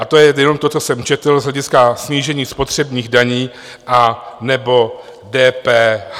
A to je jenom to, co jsem četl z hlediska snížení spotřebních daní anebo DPH.